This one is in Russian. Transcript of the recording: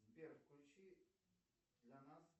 сбер включи за нас